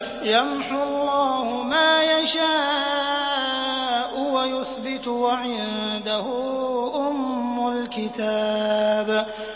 يَمْحُو اللَّهُ مَا يَشَاءُ وَيُثْبِتُ ۖ وَعِندَهُ أُمُّ الْكِتَابِ